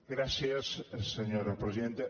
gràcies senyora presidenta